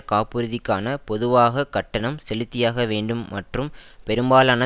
காப்புறுதிக்கான பொதுவாக கட்டணம் செலுத்தியாக வேண்டும் மற்றும் பெரும்பாலான